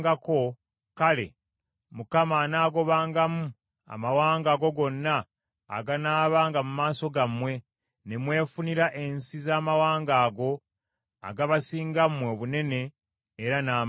kale, Mukama anaagobangamu amawanga ago gonna aganaabanga mu maaso gammwe, ne mwefunira ensi z’amawanga ago agabasinga mmwe obunene era n’amaanyi.